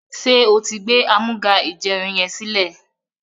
ṣe o tí gbé Amúga-ìjẹun yén silẹ?